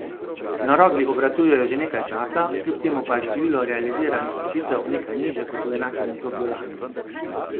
Na Rogli obratujejo že nekaj časa, kljub temu pa je število realiziranih nočitev nekaj nižje kot v enakem obdobju lani.